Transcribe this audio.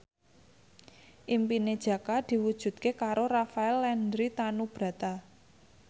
impine Jaka diwujudke karo Rafael Landry Tanubrata